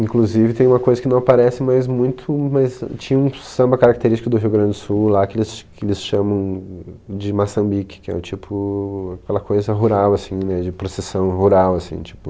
Inclusive tem uma coisa que não aparece mais muito, mas tinha um samba característico do Rio Grande do Sul lá que eles ch, que eles chamam de maçambique, que é o tipo, aquela coisa rural, assim, de processão rural, assim, tipo...